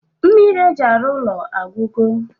Mmiri eji arụ ụlọ agwụgo?